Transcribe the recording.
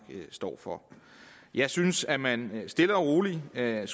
står for jeg synes at man stille og roligt skal